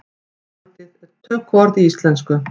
Orðið er tökuorð í íslensku.